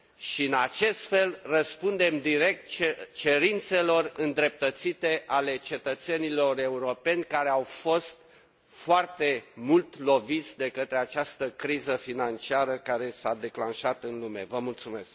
și, astfel, răspundem direct cerințelor îndreptățite ale cetățenilor europeni, care au fost foarte mult loviți de către această criză financiară care s a declanșat în lume